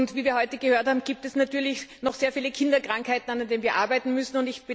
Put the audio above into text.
Wie wir heute gehört haben, gibt es natürlich noch sehr viele Kinderkrankheiten, an denen wir arbeiten müssen.